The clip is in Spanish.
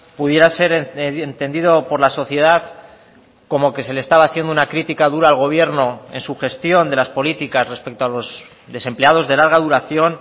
pudiera ser entendido por la sociedad como que se le estaba haciendo una crítica dura al gobierno en su gestión de las políticas respecto a los desempleados de larga duración